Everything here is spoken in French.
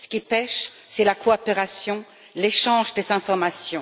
Ce qui pèche, c'est la coopération, l'échange des informations.